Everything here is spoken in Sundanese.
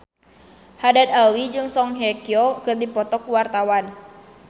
Haddad Alwi jeung Song Hye Kyo keur dipoto ku wartawan